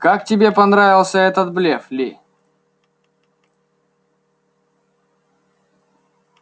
как тебе понравился этот блеф ли